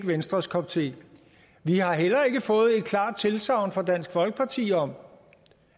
venstres kop te vi har heller ikke fået et klart tilsagn fra dansk folkeparti om